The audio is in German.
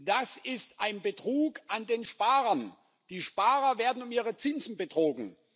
Das ist ein Betrug an den Sparern. Die Sparer werden um ihre Zinsen betrogen.